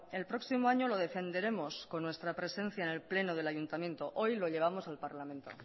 el próximo año lo defenderemos con nuestra presencia en el pleno del ayuntamiento hoy lo llevamos al parlamento